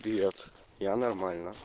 привет я нормально